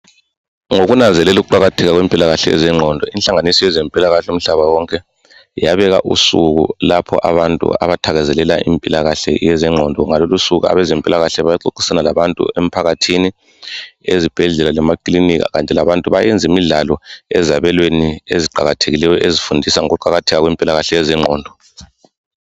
Ngokunanzelela uqakatheka kwempilakahle yezingqondo inhlanganiso yezempilakahle umhlaba wonke yabeka usuku lapho abantu abathakazelela impilakahle yezengqondo ngalolo usuku abezempilakahle baxoxisana labantu emphakathini, ezibhedlela lemaklinika kanti bantu bayenza imidlalo ezabelweni eziqakathekileyo ezifundisa ngokuqakatheka kwepilakahle yezengqondo,